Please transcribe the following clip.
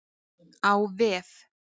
Á vef